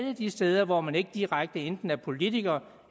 af de steder hvor man ikke direkte enten er politiker